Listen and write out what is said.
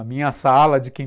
A minha sala de quinta